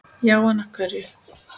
Já en. af hverju?